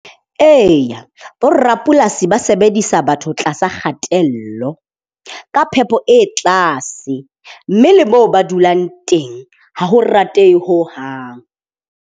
Eya bo rapolasi ba sebedisa batho tlasa kgatello. Ka phepo e tlase mme le moo ba dulang teng ha ho ratehe hohang.